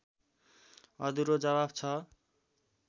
अधुरो जवाफ छ